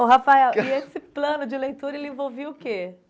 Ô, Rafael, e esse plano de leitura, ele envolvia o quê?